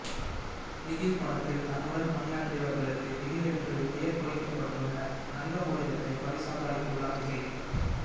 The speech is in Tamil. பிகில் படத்தில் தன்னுடன் பணியாற்றியவர்களுக்கு பிகில் என்று பெயர் பொறிக்கப்பட்டுள்ள தங்க மோதிரத்தை பரிசாக அளித்துள்ளார் விஜய்